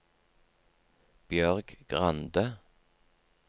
Bjørg Grande